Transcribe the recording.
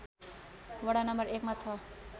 वडा नं १ मा छ